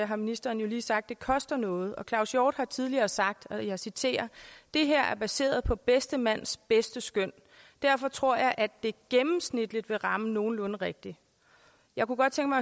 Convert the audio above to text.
har ministeren jo lige sagt at det koster noget og claus hjort frederiksen har tidligere sagt og jeg citerer det her er baseret på bedste mands bedste skøn derfor tror jeg at det gennemsnitligt vil ramme nogenlunde rigtigt jeg kunne godt tænke